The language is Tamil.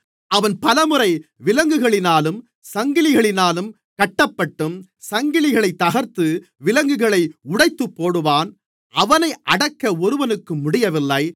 அவன் பலமுறை விலங்குகளினாலும் சங்கிலிகளினாலும் கட்டப்பட்டும் சங்கிலிகளைத் தகர்த்து விலங்குகளை உடைத்துப்போடுவான் அவனை அடக்க ஒருவனுக்கும் முடியவில்லை